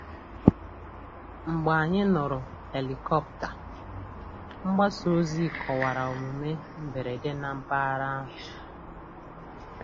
Mgbe anyị nụrụ helikọpta, mgbasa ozi kọwara omume mberede na mpaghara ahụ.